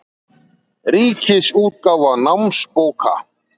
Ríkisútgáfa námsbóka.